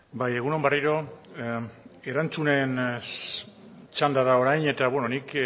bai egun on berriro erantzunen txandara orain eta nik